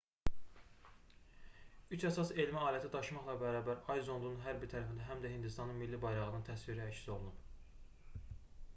üç əsas elmi aləti daşımaqla bərabər ay zondunun hər bir tərəfində həm də hindistanın milli bayrağının təsviri əks olunub